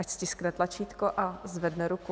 Ať stiskne tlačítko a zvedne ruku.